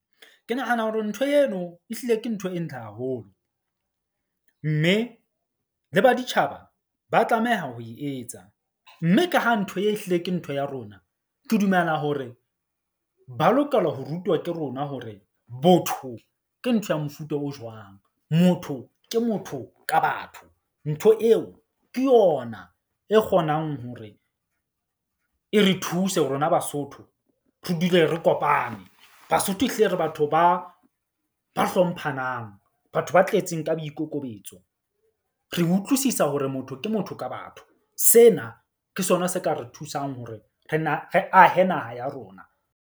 Ke nahana hore ntho eno e hlile ke ntho e ntle haholo. Mme le baditjhaba ba tlameha ho e etsa, mme ka ha ntho e hlile ke ntho ya rona, ke dumela hore ba lokelwa ho rutwa ke rona hore botho ke ntho ya mofuta o jwang. Motho ke motho ka batho. Ntho eo ke yona e kgonang hore e re thuse rona Basotho. Re dule re kopane. Basotho e hlile re batho ba hlomphang. Batho ba tletseng ka boikokobetso, re utlwisisa hore motho ke motho ka batho. Sena ke sona se ka re thusang hore re na re ahe naha ya rona.